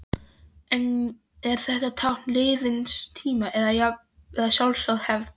En er þetta tákn liðins tíma, eða sjálfsögð hefð?